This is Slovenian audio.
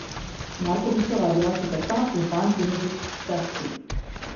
Markovičeva je bila četrta, Urban Primožič šesti.